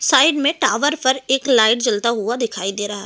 Side में tower पर एक लाइट जलता हुआ दिखाई दे रहा है।